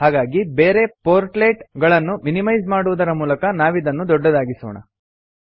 ಹಾಗಾಗಿ ಬೇರೆ ಪೋರ್ಟ್ಲೆಟ್ ಗಳನ್ನು ಮಿನಿಮೈಸ್ ಮಾಡುವುದರ ಮೂಲಕ ನಾವಿದನ್ನು ದೊಡ್ಡದಾಗಿಸೋಣ